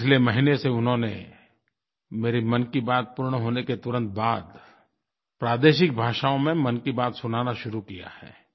पिछले महीने से उन्होंने मेरी मन की बात पूर्ण होने के तुरंत बाद प्रादेशिक भाषाओं में मन की बात सुनाना शुरू किया है